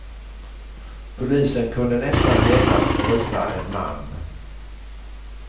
Polisen kunde nästan genast gripa en man.